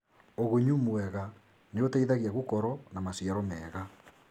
ũgunyu mwega nĩũteithagia gũkorwo na maciaro mega.